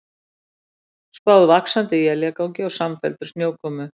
Spáð vaxandi éljagangi og samfelldri snjókomu